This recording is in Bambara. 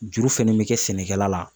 Juru fɛnɛ bɛ kɛ sɛnɛkɛla la.